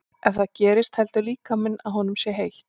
Ef það gerist heldur líkaminn að honum sé heitt.